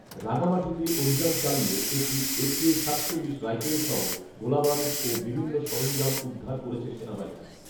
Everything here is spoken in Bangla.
রাঙামাটিতে অভিযান চালিয়ে একটি একে সাতচল্লিশ রাইফেলসহ গোলাবারুদ ও বিভিন্ন সরঞ্জাম উদ্ধার করেছে সেনাবাহিনী